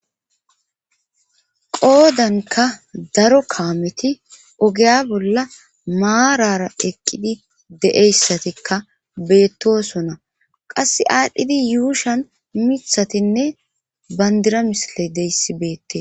qoodanka daro kaameti ogeya bolla maarara eqqidi deeyssatikka beettosona qasse aadhdhidi yuushan mithatinne bandira misile deyssi beette